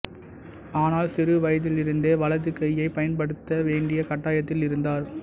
ஆனால் சிறு வயதிலிருந்தே வலது கையைப் பயன்படுத்த வேண்டிய கட்டாயத்தில் இருந்தார்